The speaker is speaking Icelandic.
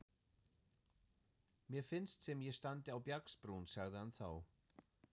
Mér finnst sem ég standi á bjargbrún, sagði hann þá.